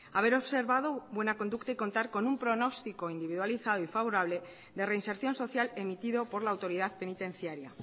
haber observado buena conducta y contar con un pronóstico individualizado y favorable de reinserción social emitido por la autoridad penitenciaria